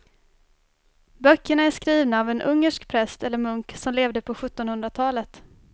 Böckerna är skrivna av en ungersk präst eller munk som levde på sjuttonhundratalet.